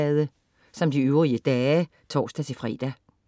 Samme programflade som øvrige dage (tors-fre)